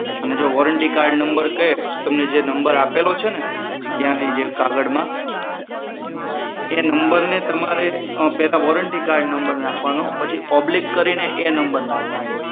જો warranty card number કહે તો જે તમને જે નંબર આપેલો છે ને ત્યાંથી જે એક કાગળમાં એ નંબરને તમારે પેલા વોરંટી કાર્ઓડ નંબર નાખવાનો પછી ઓબ્લીક કરીને એ નંબર નાખવાનો